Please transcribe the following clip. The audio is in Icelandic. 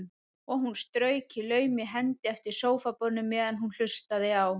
Og hún strauk í laumi hendi eftir sófaborðinu meðan hún hlustaði á